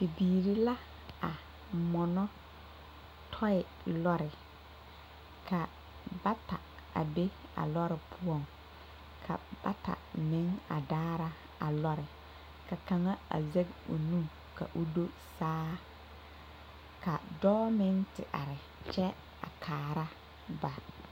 Bibiiri la a mɔnɔ tɔɔye lɔre ka bata a be a lɔre poɔŋ ka bata meŋ a daara a lɔre ka kaŋa a zɛge o nu ka o do saa ka dɔɔ meŋ te are kyɛ a kaara ba.